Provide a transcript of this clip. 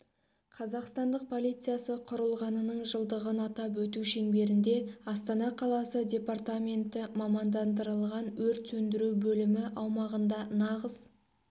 қазақстандық полициясы құрылғанының жылдығын атап өту шеңберінде астана қаласы департаменті мамандандырылған өрт сөндіру бөлімі аумағында нағыз